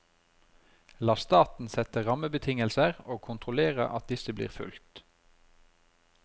La staten sette rammebetingelser og kontrollere at disse blir fulgt.